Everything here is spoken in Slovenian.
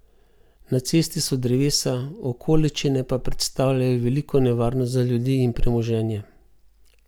Na cesti so drevesa, okoliščine pa predstavljajo veliko nevarnost za ljudi in premoženje.